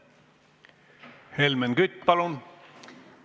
Helmen Kütt, palun!